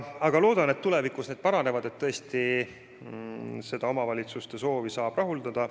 Loodan, et tulevikus need paranevad ja me saame tõesti selle omavalitsuste soovi rahuldada.